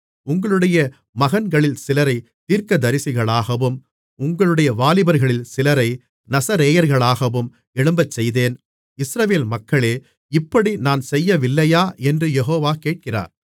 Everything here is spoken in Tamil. உங்களுடைய மகன்களில் சிலரை தீர்க்கதரிசிகளாகவும் உங்களுடைய வாலிபர்களில் சிலரை நசரேயர்களாகவும் எழும்பச்செய்தேன் இஸ்ரவேல் மக்களே இப்படி நான் செய்யவில்லையா என்று யெகோவா கேட்கிறார்